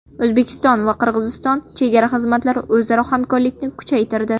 O‘zbekiston va Qirg‘iziston chegara xizmatlari o‘zaro hamkorlikni kuchaytirdi.